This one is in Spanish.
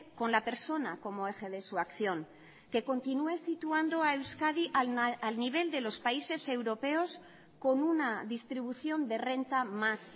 con la persona como eje de su acción que continúe situando a euskadi al nivel de los países europeos con una distribución de renta más